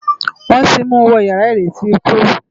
Wòn ti mú wò iyàrá iréti ikú